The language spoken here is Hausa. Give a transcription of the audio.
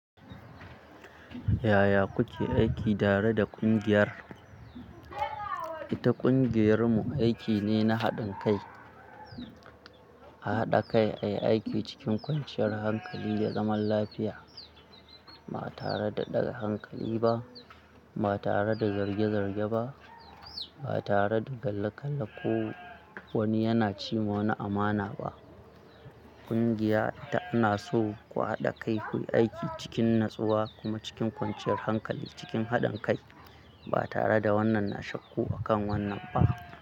Yaya kuke aiki tare da ƙungiyar? Ita ƙungiyar mu aiki ne na haɗin kai. A haɗa kai ayi aiki cikin kwanciyar hankali da zaman lafiya. Ba tare da ɗaga hankali ba, ba tare da zarge-zarge ba, ba tare da kalle-kalle ko wani yana ci ma wani amana ba. Ƙungiya ita ana so ku haɗa kai kuyi aiki cikin natsuwa kuma cikin kwanciyar hankali cikin haɗin kai ba tare da wannan na shakku akan wannan ba.